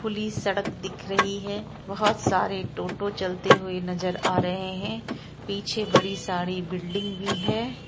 Police सड़क दिख रही है बहुत सारे टोटों चलते हुए नजर आ रहे है पीछे बड़ी सारी बिल्डिंग भी है ।